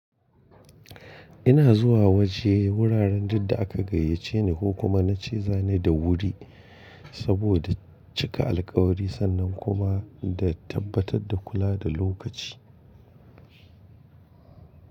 Ina zuwa waje wuraren duk da aka gayyace ni ko kuma na ce za ni da wuri. Saboda cika alkawari sannan kuma da tabbatar da kula da lokaci.